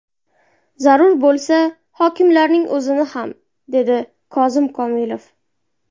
Zarur bo‘lsa, hokimlarning o‘zini ham, dedi Kozim Komilov.